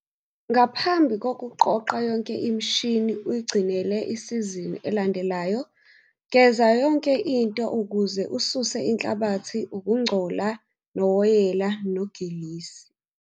Ngaphambi kokuqoqa yonke imishini uyigcinele isizini elandelayo geza yonke into ukuze ususe inhlabathi, ukungcola nowoyela nogilisi.